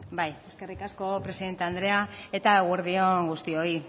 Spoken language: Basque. bai eskerrik asko presidente andrea eta eguerdi on guztioi